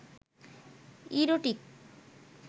erotic